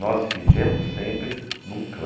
Nós vivemos sempre em um clã.